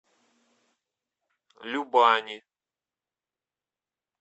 любани